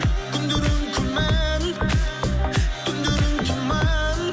күндерің күмән түндерің тұман